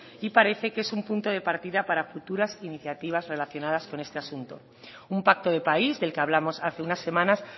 y parece que es un punto de partida para futuras iniciativas relacionadas con este asunto un pacto de país del que hablamos hace unas semanas